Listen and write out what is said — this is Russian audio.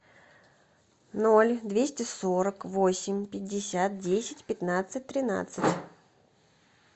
ноль двести сорок восемь пятьдесят десять пятнадцать тринадцать